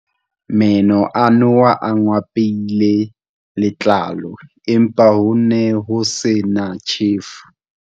Meno a noha a ngwapile letlalo, empa ho ne ho se na tjhefu.